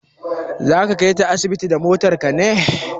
Za ka kaita asibiti da motar ka ne?